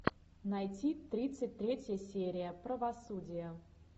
найти тридцать третья серия правосудие